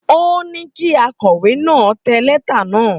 Ó ní kí akọ̀wé náà tẹ lẹ́tà náà.